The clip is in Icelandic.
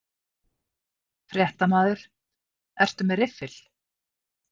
Fréttamaður: Ertu með riffil?